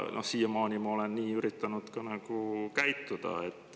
Siiamaani ma olen nii üritanud ka käituda.